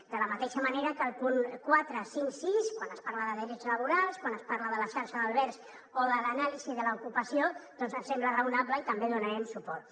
de la mateixa manera que els punts quatre cinc sis quan es parla de drets laborals quan es parla de la xarxa d’albergs o de l’anàlisi de l’ocupació doncs ens semblen raonables i també hi donarem suport